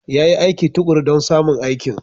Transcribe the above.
Ya yi aiki tuƙuru don samun aikin.